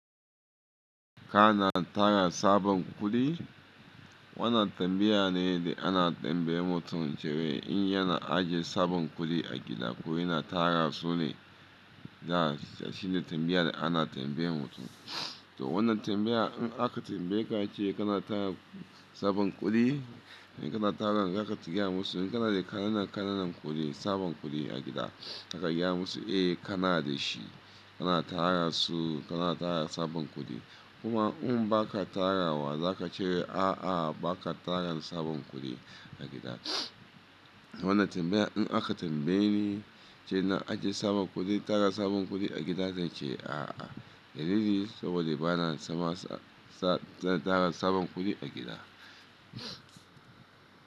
Kana tara sabon kuɗi? Wannan tambaya ne da ana tambayar mutum cewa in yana ajiye sabon kuɗi a gida ko yana tara su ne, za shine tambaya da ana tambayar mutum. To wannan tambaya in aka tambaye ka ace kana tara sabon kuɗi, in kana tara zaka gaya musu in kana da kanana kananan kudi sabon kudi a gida zaka gaya musu e kana dashi kana tara su kana tara sabon kudi. Kuma in ba ka tara wa, za ka ce a'a ba ka tara sabon kuɗi a gida. Wannan tambaya in aka tambaye ni ce na ajiye sabon kuɗi, tara sabon kuɗi a gida, zan ce a'a. Da lili saboda ba na zama sa-sa-tana tara sabon kuɗi a gida.